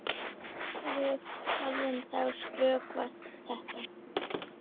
Við höfum þá stöðvað þetta.